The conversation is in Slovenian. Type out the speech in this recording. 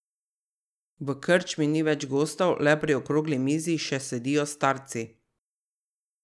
V krčmi ni več gostov, le pri okrogli mizi še sedijo starci.